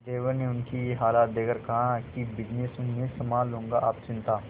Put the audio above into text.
देवर ने उनकी ये हालत देखकर कहा कि बिजनेस मैं संभाल लूंगा आप चिंता